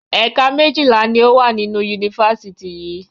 Ẹ̀ka méjìlá ni ó wà nínú Yunifásítì yìí